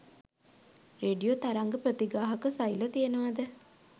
Radio තරංග ප්‍රතිග්‍රාහක සෛල තියෙනවද?